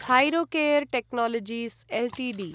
Thyrocare technologies Ltd